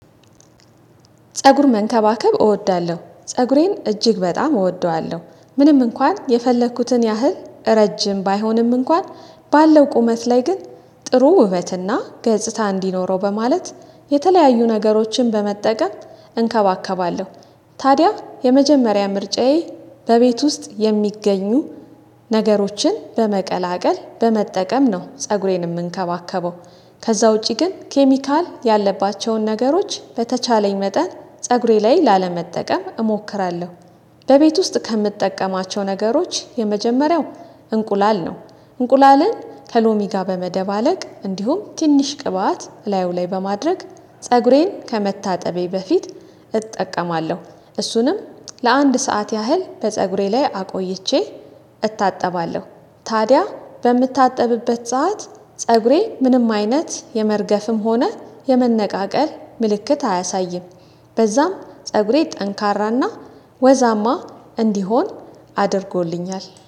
ፀጉር መንከባከብ እወዳለሁ ፀጉሬን እጅግ በጣም እወደዋለሁ ምንም እንኳን የፈለኩትን ያህል ረጅም ባይሆንም እንኳን ባለው ቁመት ላይ ግን ጥሩ ውበትና ገጽታ እንዲኖረው በማለት የተለያዩ ነገሮችን በመጠቀም እንከባከባለሁ። ታዲያ የመጀመሪያ ምርጫዬ በቤት ውስጥ የሚገኙ ነገሮችን በመቀላቀል በመጠቀም ነው ፀጉሬን የምንከባከበው። ከዛ ውጪ ግን ኬሚካል ያለባቸውን ነገሮች በተቻለኝ መጠን ፀጉሬ ላይ ላለመጠቀም እሞክራለሁ። በቤት ውስጥ ከምጠቀማቸው ነገሮች የመጀመሪያው እንቁላል ነው። እንቁላልን ከሎሚ ጋር በመደባለቅ እንዲሁም ትንሽ ቅባት እላዩ ላይ በማድረግ ፀጉሬን ከመታጠቤ በፊት እጠቀማለሁ። እሱንም ለአንድ ሰዓት ያህል በፀጉሬ ላይ አቆይቼ እታጠባለሁ። ታዲያ በምታጠብበት ሰዓት ፀጉሬ ምንም አይነት የመርገፍም ሆነ የመነቃቀል ምልክት አያሳይም። በዛም ፀጉሬ ጠንካራና ወዛማ እንዲሆን አድርጎልኛል